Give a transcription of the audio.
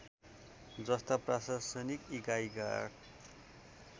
जस्ता प्रशासनिक एकाइका